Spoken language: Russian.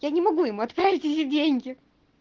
я не могу ему отправить эти деньги